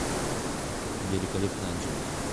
великолепная анжелика